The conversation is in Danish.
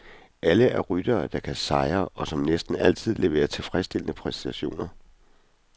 Alle er ryttere, der kan sejre, og som næsten altid leverer tilfredsstillende præstationer.